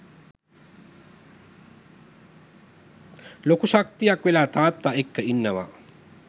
ලොකු ශක්තියක් වෙලා තාත්තා එක්ක ඉන්නවා.